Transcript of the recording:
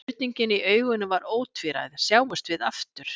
Spurningin í augunum var ótvíræð: Sjáumst við aftur?